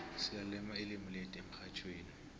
silalela ilimu lethu emxhatjhweni